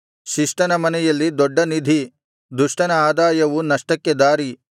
ಶಿಷ್ಟನ ಮನೆಯಲ್ಲಿ ದೊಡ್ಡ ನಿಧಿ ದುಷ್ಟನ ಆದಾಯವು ನಷ್ಟಕ್ಕೆ ದಾರಿ